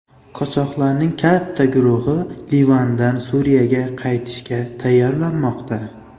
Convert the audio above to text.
Qochoqlarning katta guruhi Livandan Suriyaga qaytishga tayyorlanmoqda.